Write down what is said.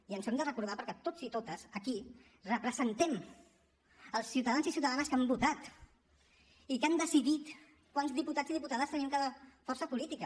i ens ho hem de recordar perquè tots i totes aquí representem els ciutadans i ciutadanes que han votat i que han decidit quants diputats i diputades tenim cada força política